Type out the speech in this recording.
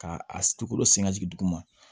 K'a a tukolo sen ka jigin duguma